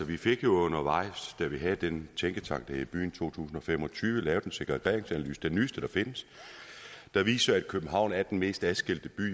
vi fik jo undervejs da vi havde den tænketank der hed byen to tusind og fem og tyve lavet en segregeringsanalyse den nyeste der findes der viser at københavn er den mest adskilte by